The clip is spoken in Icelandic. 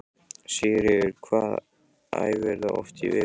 Sigríður: Hvað æfirðu oft í viku?